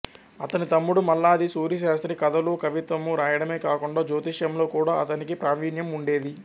అతని తమ్ముడు మల్లాది సూరిశాస్త్రి కథలూ కవిత్వమూ రాయడమే కాకుండా జ్యోతిష్యంలో కూడా అతనికి ప్రావీణ్యం ఉండేది